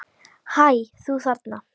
Hæ, þú þarna!